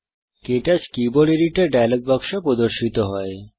ক্টাচ keyboard editor dialogue বাক্স প্রদর্শিত হয়